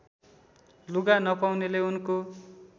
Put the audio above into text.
लुगा नपाउनेले उनको